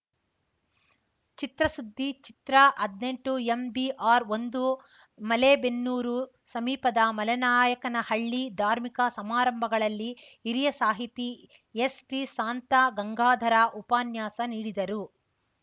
ಚಿತ್ರಸುದ್ದಿ ಚಿತ್ರಹದ್ನೆಂಟುಎಂಬಿಆರ್‌ಒಂದು ಮಲೇಬೆನ್ನೂರು ಸಮೀಪದ ಮಲೆನಾಯಕನಹಳ್ಳಿ ಧಾರ್ಮಿಕ ಸಮಾರಂಭಗಳಲ್ಲಿ ಹಿರಿಯ ಸಾಹಿತಿ ಎಸ್‌ಟಿಶಾಂತಗಂಗಾಧರ ಉಪನ್ಯಾಸ ನೀಡಿದರು